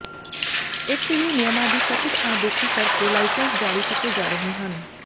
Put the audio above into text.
ਇਥੇ ਵੀ ਨਿਯਮਾਂ ਦੀ ਕਥਿਤ ਅਣਦੇਖੀ ਕਰ ਕੇ ਲਾਇਸੈਂਸ ਜਾਰੀ ਕੀਤੇ ਜਾ ਰਹੇ ਹਨ